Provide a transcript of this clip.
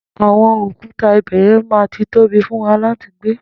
Àwọn òkúta ibẹ̀ yẹn ma ti tóbi fún wa láti gbé.